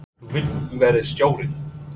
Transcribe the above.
Þú vilt vera stjórinn?